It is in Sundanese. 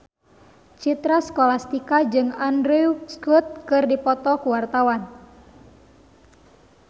Citra Scholastika jeung Andrew Scott keur dipoto ku wartawan